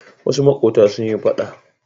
Wasu maƙota sun yi faɗa.